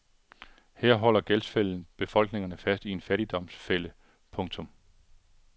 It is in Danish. Her holder gældsfælden befolkningerne fast i en fattigdomsfælde. punktum